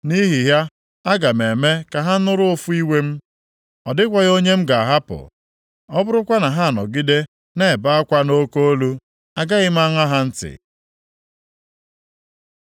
Nʼihi ya, aga m eme ka ha nụrụ ụfụ iwe m, ọ dịkwaghị onye m ga-ahapụ. Ọ bụrụkwa na ha anọgide na-ebe akwa nʼoke olu, agaghị m aṅa ha ntị.”